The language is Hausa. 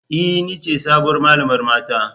E! Ni ce sabuwar malamar mata.